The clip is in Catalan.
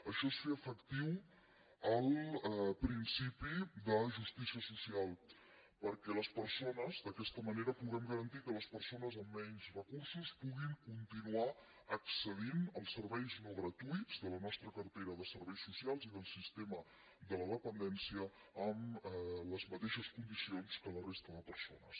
això és fer efectiu el principi de justícia social perquè d’aquesta manera puguem garantir que les persones amb menys recursos puguin continuar accedint als serveis no gratuïts de la nostra cartera de serveis socials i del sistema de la dependència amb les mateixes condicions que la resta de persones